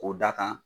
K'o da kan